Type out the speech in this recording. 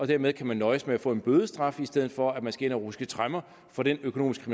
dermed kan nøjes med at få en bødestraf i stedet for at man skal ind og ruske tremmer for den økonomiske